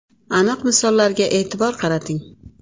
Aniq misollarga e’tibor qarating.